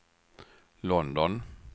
London